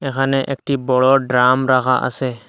এখানে একটি বড় ড্রাম রাখা আসে।